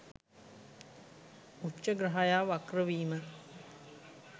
උච්ඡ ග්‍රහයා වක්‍රවීම